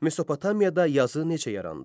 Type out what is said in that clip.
Mesopotamiyada yazı necə yarandı?